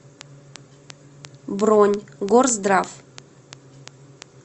бронь горздрав